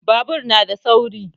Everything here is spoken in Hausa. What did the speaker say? Babur na da sauri